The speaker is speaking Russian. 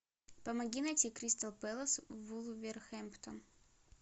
помоги найти кристал пэлас вулверхэмптон